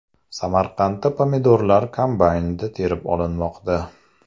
Samarqandda pomidorlar kombaynda terib olinmoqda.